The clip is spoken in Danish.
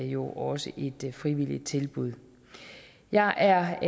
jo også et frivilligt tilbud jeg er